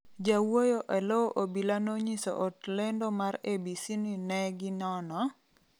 Jawuoyo eloo obila nonyiso ot lendo mar ABC ni ne gi nono ,